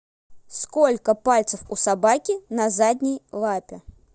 сколько пальцев у собаки на задней лапе